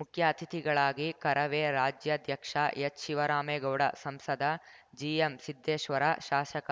ಮುಖ್ಯ ಅತಿಥಿಗಳಾಗಿ ಕರವೇ ರಾಜ್ಯಾಧ್ಯಕ್ಷ ಎಚ್‌ಶಿವರಾಮೇಗೌಡ ಸಂಸದ ಜಿಎಂಸಿದ್ದೇಶ್ವರ ಶಾಸಕ